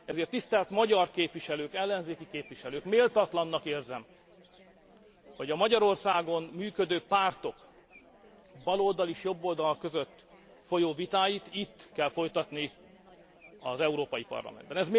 Ezért tisztelt magyar ellenzéki képviselők, méltatlannak érzem, hogy a Magyarországon működő pártok baloldal és jobboldal között folyó vitáit itt kell folytatni az Európai Parlamentben.